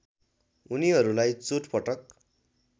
उनीहरूलाई चोटपटक